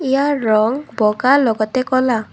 ইয়াৰ ৰং বগা লগতে কলা।